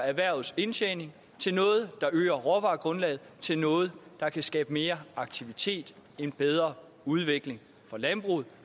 erhvervets indtjening til noget der øger råvaregrundlaget til noget der kan skabe mere aktivitet en bedre udvikling for landbruget